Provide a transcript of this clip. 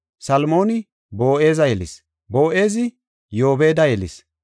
Salmooni Boo7eza yelis; Boo7ezi Yoobeda yelis;